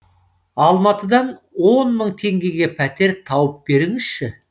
алматыдан он мың теңгеге пәтер тауып беріңізші